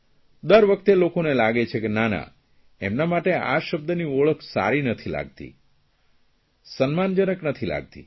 દર વખતે લોકોને લાગે છે કે નાના તેમના માટે આ શબ્દની ઓળખ સારી નથી લાગતી સન્માનજનક નથી લાગતી